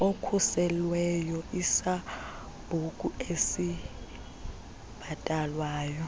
okhuselweyo isambuku esibhatalwayo